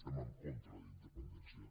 estem en contra de la independència